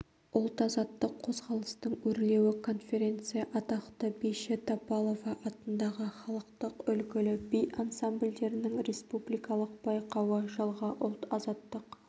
ұлт-азаттық қозғалыстың өрлеуі конференция атақты биші тапалова атындағы халықтық үлгілі би ансамбльдерінің республикалық байқауы жылғы ұлт-азаттық